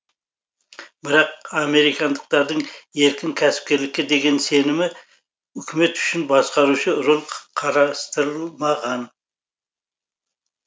бірақ американдықтардың еркін кәсіпкерлікке деген сенімі үкімет үшін басқарушы рөл қарастырылмаған